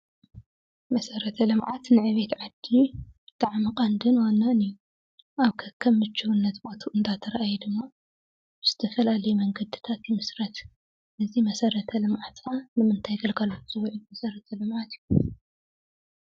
መሰረተ ልምዓት ንዕቤት ዓዲ ብጣዕሚ ቀንድን ዋናን እዩ። ኣብ ከከም ምችውነት ቦትኡ እንዳተረኣየ ድማ ዝተፈላለየ መንገዲታት ይምስረት። እዚ መሰረተ ልምዓት ንምታይ ግለጋሎት ዝውዕል መሰረተ ልምዓት እዩ?